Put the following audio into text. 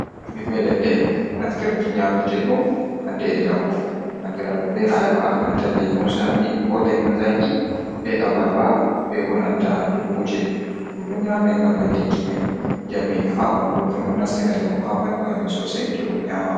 Ɓiɓɓe leɗɗe, naftirki ɲyaametee ɗum haannde e jaango, anndiiraaɗum bee ayaba, nanta leemunsaami koo leemun zaakii bee abarba bee bo nanta dukkuuje. Ɗum ɗo nyaame ngam ɓeɗdinki men njami haaɓandu ɗum ɗo nastina njamu haaɓanndu amin soosay to ɗum nyaama ma.